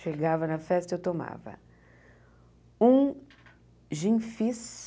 Chegava na festa, eu tomava um gin fis.